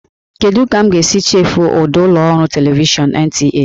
Kedu ka m ga-esi chefuo ụda ụlọ ọrụ televishọn NTA?